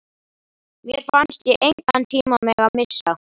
Mér fannst ég engan tíma mega missa.